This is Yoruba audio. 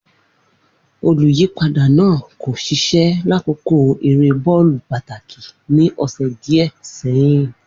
Oluyipada naa ko ṣiṣẹ lakoko ere bọọlu pataki ni ọsẹ diẹ sẹhin.